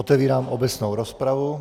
Otevírám obecnou rozpravu.